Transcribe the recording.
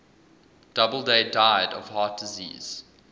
doubleday died of heart disease